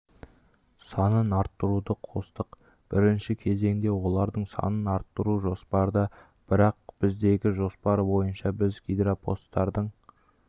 санын арттыруды қостық бірінші кезеңде олардың санын арттыру жоспарда бірақ біздегі жоспар бойынша біз гиропостардың